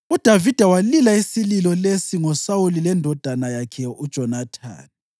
UDavida walila isililo lesi ngoSawuli lendodana yakhe uJonathani,